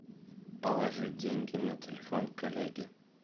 положи деньги на телефон коллеги